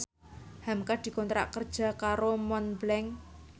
hamka dikontrak kerja karo Montblanc